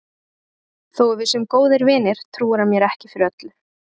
Þó að við séum góðir vinir trúir hann mér ekki fyrir öllu.